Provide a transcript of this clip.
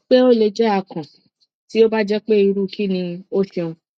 pe o le jẹ akàn ti o ba jẹ pe iru kini o ṣeun